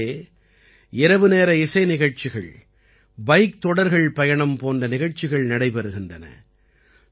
இங்கே இரவுநேர இசை நிகழ்ச்சிகள் பைக் தொடர்கள் பயணம் போன்ற நிகழ்ச்சிகள் நடைபெறுகின்றன